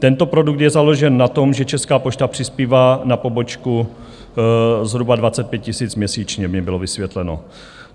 Tento produkt je založen na tom, že Česká pošta přispívá na pobočku zhruba 25 000 měsíčně, mi bylo vysvětleno.